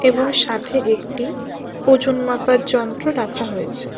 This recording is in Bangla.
এবং সাথে একটি ওজন মাপার যন্ত্র রাখা হয়েছে।